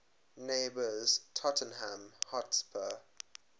neighbours tottenham hotspur